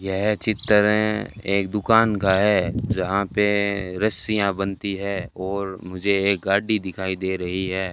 यह चित्र एक दुकान का है जहां पे रस्सियां बनती है और मुझे एक गाड़ी दिखाई दे रही है।